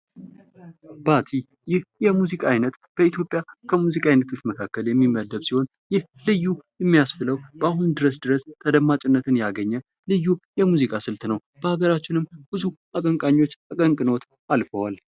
ባቲ ይህ የሙዚቃ አይነት በኢትዮጵያ ከሙዚቃ አይነቶች መካከል የሚመደብ ሲሆን ይህ ልዩ የሚያስብለው በአሁኑ ድረስ ድረስ ተደማጭነት ያገኘ ልዩ የሙዚቃ ስልት ነው። በአገራችንም ብዙ አቀንቃኞች አቀንቅነውት አልፈዋል።